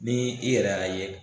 Ni i yɛrɛ y'a ye.